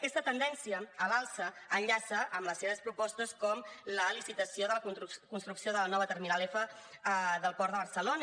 aquesta tendència a l’alça enllaça amb les seves propostes com la licitació de la construcció de la nova terminal f del port de barcelona